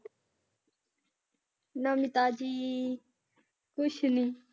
ਨਵੀਂ ਤਾਜ਼ੀ ਕੁਛ ਨੀ।